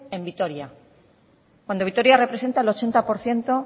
en vitoria cuando vitoria representa el ochenta por ciento